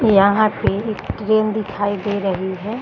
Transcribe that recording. यहाँ पे एक ट्रेन दिखाई दे रही है।